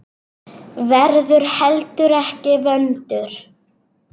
Verður heldur ekki vondur.